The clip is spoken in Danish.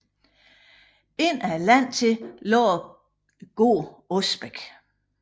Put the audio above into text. Ind ad landet til lå gården Osbæk